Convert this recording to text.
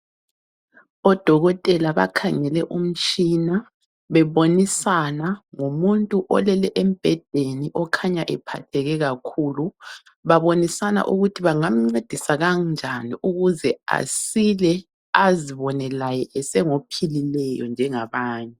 Odokotela bakhangele umtshina bebonisana ngomuntu olele embhedeni okhanya ephatheke kakhulu. Babonisana ukuthi bangamncedisa kanjani ukuze asile azibone laye esengophilileyo njengabanye.